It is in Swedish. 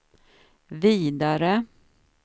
vidare